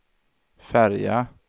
färja